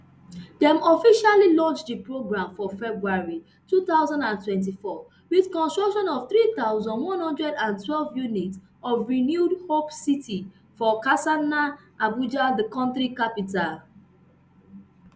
dem officially launch di programme for february two thousand and twenty-four wit construction of three thousand, one hundred and twelve unit of renewed hope city for karsana abuja di kontri capital